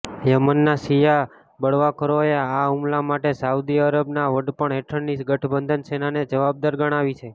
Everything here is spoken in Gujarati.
યમનના શિયા બળવાખોરોએ આ હુમલા માટે સાઉદી અરબના વડપણ હેઠળની ગઠબંધન સેનાને જવાબદાર ગણાવી છે